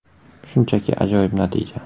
Shunchaki ajoyib natija.